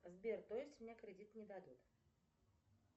сбер то есть мне кредит не дадут